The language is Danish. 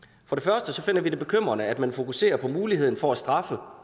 vi finder det bekymrende at man fokuserer på muligheden for at straffe